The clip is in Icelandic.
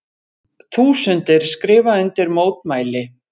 Þúsundir skrifa undir mótmæli